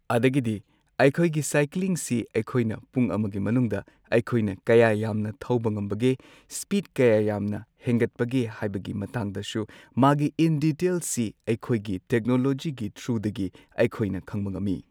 ꯑꯗꯒꯤꯗꯤ ꯑꯩꯈꯣꯏꯒꯤ ꯁꯥꯏꯀ꯭ꯂꯤꯡꯁꯤ ꯑꯩꯈꯣꯏꯅ ꯄꯨꯡ ꯑꯃꯒꯤ ꯃꯅꯨꯡꯗ ꯑꯩꯈꯣꯏꯅ ꯀꯌꯥ ꯌꯥꯝꯅ ꯊꯧꯕ ꯉꯝꯕꯒꯦ꯫ ꯁ꯭ꯄꯤꯗ ꯀꯌꯥ ꯌꯥꯝꯅ ꯍꯦꯟꯒꯠꯄꯒꯦ ꯍꯥꯏꯕꯒꯤ ꯃꯇꯥꯡꯗꯁꯨ ꯃꯥꯒꯤ ꯏꯟ ꯗꯤꯇꯦꯜꯁꯁꯤ ꯑꯩꯈꯣꯏꯒꯤ ꯇꯦꯛꯅꯣꯂꯣꯖꯤꯒꯤ ꯊ꯭ꯔꯨꯗꯒꯤ ꯑꯩꯈꯣꯏꯅ ꯈꯪꯕ ꯉꯝꯃꯤ꯫